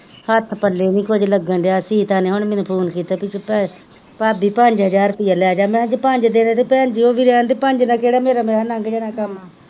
ਹੱਥ ਪਲੇ ਨੀ ਕੁਝ ਲੱਗਡਿਆ ਸੀਤਾਂ ਨੇ ਹੁਣ ਮੈਂਨੂੰ ਫੋਨ ਕੀਤਾ ਭੇਈ ਭਾਭੀ ਪੰਜ ਹਜ਼ਾਰ ਰੁਪਿਆ ਲੇਜ ਮੈਕੇਆ ਜੇ ਪੰਜ ਦੇਣਾ ਤਾਂ ਓਹਬੀ ਰਹਿਣ ਦੇ ਪੰਜ ਨਾਲ ਮੈਕੇਆ ਕੇੜਾ ਮੈਕਹੇਆ ਮੇਰਾ ਲੰਘ ਜਾਣਾ ਕੰਮ,